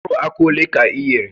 Mkpụrụ akwa ole ka i ghere?